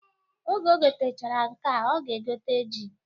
Oge o gotechara nkea, ọ ga-egote ji